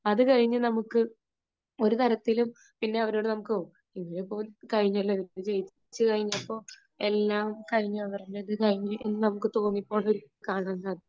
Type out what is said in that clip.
അതുകഴിഞ്ഞ് നമുക്ക് ഒരുതരത്തിലും പിന്നെ അവരോട് നമുക്ക് ഓ ഇനിയിപ്പോള് കഴിഞ്ഞല്ലോ, ജയിച്ചു കഴിഞ്ഞപ്പോൾ എല്ലാം കഴിഞ്ഞു അവരുടെ ഒരു ഇത് കഴിഞ്ഞു എന്ന് നമുക്ക് തോന്നി പോകുന്ന ഒരു ഇത് കാണാൻ സാധിക്കും.